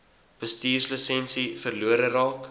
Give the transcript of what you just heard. bestuurslisensie verlore raak